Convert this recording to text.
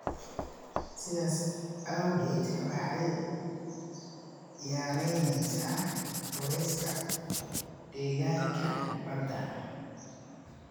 sidaas awgeed waxay yaraynaysaa culayska deegaanka badda.